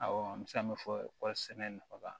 Awɔ an bɛ se ka min fɔ kɔɔri sɛnɛ nafa